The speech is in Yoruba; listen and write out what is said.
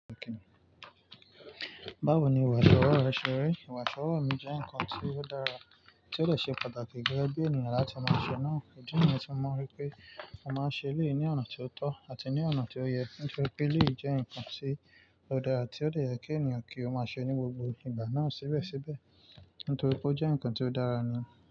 Báwo ni ìwà ìṣòro rẹ ṣe ri? Ìwà ìṣòro mi jẹ́ ǹkan tí ó dára, tí ó le ṣe pàtàkì gẹ́gẹ́ bí ènìyàn láti máa ṣe náà. Idi niyen ti mo ripe mo máa ń ṣe eleyi ní ọ̀nà tí ó tọ́ àti ní ọ̀nà tí ó yẹ, nítorí pé eleyi jẹ́ ǹkan tí ó dára ti ó de yẹ kí ènìyàn kí ó máa ṣe ní gbogbo ìgbà náà síbẹ̀síbẹ̀. Nítorí pé ó jẹ́ ǹkan tí ó dára nù.